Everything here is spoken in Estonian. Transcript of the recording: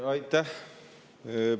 Aitäh!